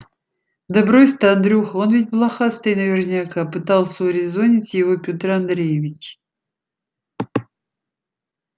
да брось ты андрюха он ведь блохастый наверняка пытался урезонить его пётр андреевич